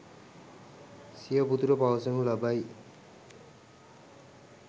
සිය පුතුට පවසනු ලබයි.